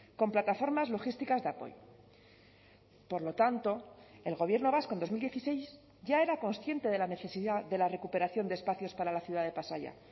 con plataformas logísticas de apoyo por lo tanto el gobierno vasco en dos mil dieciséis ya era consciente de la necesidad de la recuperación de espacios para la ciudad de pasaia